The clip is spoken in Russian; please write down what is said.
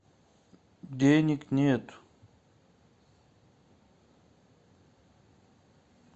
денег нет